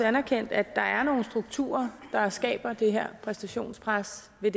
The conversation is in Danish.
anerkendt at der er nogle strukturer der skaber det her præstationenspres ved